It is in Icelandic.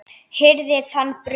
hirðir þann bruna